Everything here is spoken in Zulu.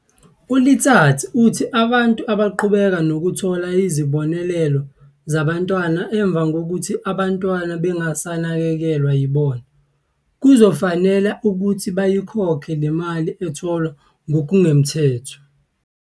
U-Letsatsi uthi abantu abaqhubeka nokuthola izibonelelo zabantwana emva kokuthi abantwana bengasanakekelwa yibona, kuzofanele ukuthi bayikhokhe le mali etholwe ngokungemthetho.